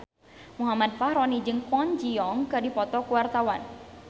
Muhammad Fachroni jeung Kwon Ji Yong keur dipoto ku wartawan